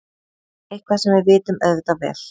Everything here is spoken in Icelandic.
Eitthvað sem við vitum auðvitað vel.